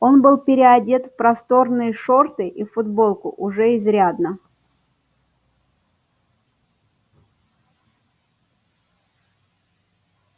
он был переодет в просторные шорты и футболку уже изрядно